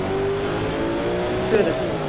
Hlöðum